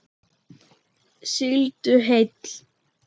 Sigldu heill.